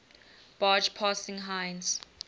barge passing heinz